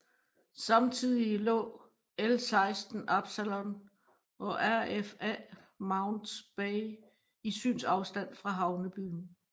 Samtidig lå L16 Absalon og RFA Mounts Bay i synsafstand fra havnebyen